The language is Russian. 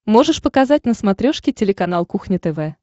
можешь показать на смотрешке телеканал кухня тв